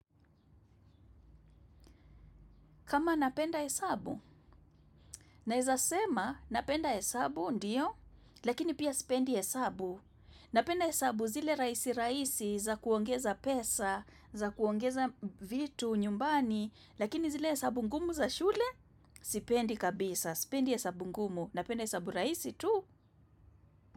Kama napenda hesabu, naezasema napenda hesabu ndio, lakini pia sipendi hesabu, napenda hesabu zile rahisi rahisi za kuongeza pesa, za kuongeza vitu, nyumbani, lakini zile hesabu ngumu za shule, sipendi kabisa, sipendi hesabu ngumu, napenda hesabu rahisi tu.